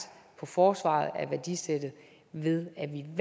i forsvaret af værdisættet ved